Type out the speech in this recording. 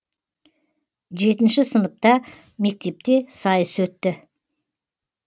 жетінші сыныпта мектепте сайыс өтті